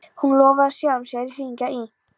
Hann lofaði sjálfum sér að hringja í